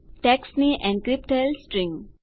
ટેક્સ્ટની encrypt થયેલ string